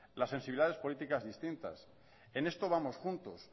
lad sensibilidades políticas distintas en esto vamos juntos